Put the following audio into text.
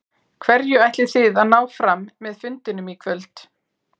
Hverju ætlið þið að ná fram með fundinum í kvöld?